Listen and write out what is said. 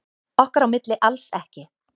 Okkar á milli alls ekki.